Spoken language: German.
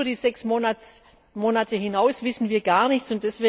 Über die sechs Monate hinaus wissen wir gar nichts.